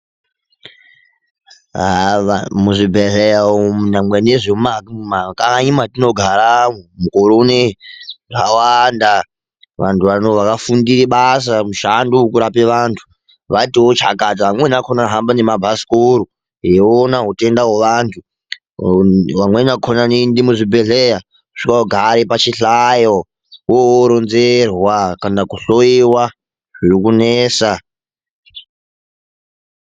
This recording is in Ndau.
Haa muzvibhedhleya umu nyangwe nezvemumamumakanyi matinogara mukore uno zvakawanda vantu vano vakafundire basa mushando wekurape vantu vatiwo chakata vamweni vakona vanohamba nemabhasikoro eiona utenda hweantu vamweni vakona vanoende muzvibhedhleya wochogara pachihlayo woro woronzerwa kana kuhloiwa zviri kunesa.